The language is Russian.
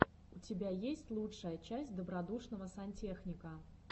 у тебя есть лучшая часть добродушного сантехника